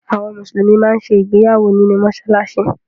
Àwọn Mùsùlùmí máa ń ṣe ìgbéyàwó nínú mọ́ṣáláṣí